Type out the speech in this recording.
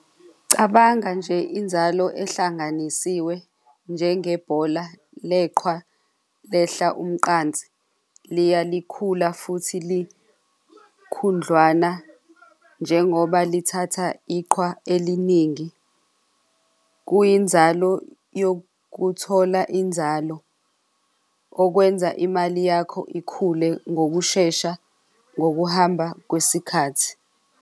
Cabanga nje inzalo ehlanganisiwe njengebhola leqhwa lehla umqansi liya likhula futhi likhundlwana, njengoba lithatha iqhwa eliningi kuyinzalo yokuthola inzalo okwenza imali yakho ikhule ngokushesha ngokuhamba kwesikhathi.